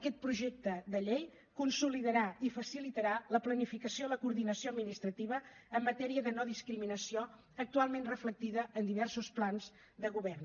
aquest projecte de llei consolidarà i facilitarà la planificació i la coordinació administrativa en matèria de no discriminació actualment reflectida en diversos plans de govern